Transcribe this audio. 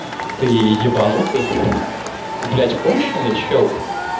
ты ебаннутый ты блядь конченный человек